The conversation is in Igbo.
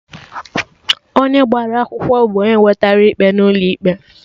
Onye gbara akwụkwọ bụ onye wetera ikpe n'ụlọ ikpe